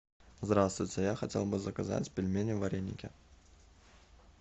здравствуйте я хотел бы заказать пельмени вареники